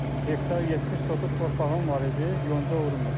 Hektar 70 sotluq torpağım var idi, yonca vurmuşdum.